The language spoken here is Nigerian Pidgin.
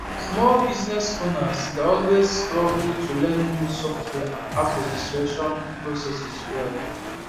small business owners dey always struggle to learn new software and app registration processes well